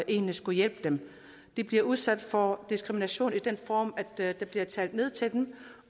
egentlig skulle hjælpe dem de bliver udsat for diskrimination i den form at der bliver talt ned til dem